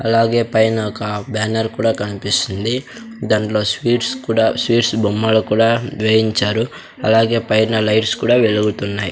అలాగే పైన ఒక బ్యానర్ కూడా కనిపిస్తుంది దాంట్లో స్వీట్స్ కూడా స్వీట్స్ బొమ్మలు కూడా వేయించారు అలాగే పైన లైట్స్ కూడా వెలుగుతున్నాయి.